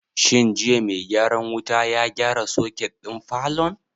Shin jiya mai gyaran wuta ya gyara soket ɗin falon?